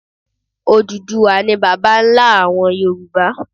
Odùduwà ni bàbá nlá àwon Yorùbá